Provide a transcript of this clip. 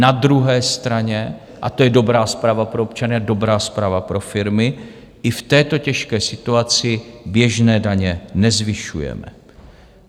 Na druhé straně, a to je dobrá zpráva pro občany a dobrá zpráva pro firmy, i v této těžké situaci běžné daně nezvyšujeme.